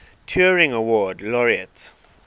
turing award laureates